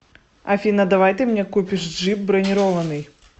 афина давай ты мне купишь джип бронированный